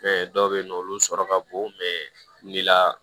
dɔw bɛ yen nɔ olu sɔrɔ ka bon la